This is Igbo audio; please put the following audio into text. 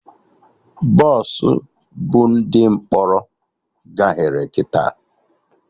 Bọsụ bu ndị mkpọrọ gaghere kịta